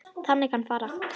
Þannig kann að fara.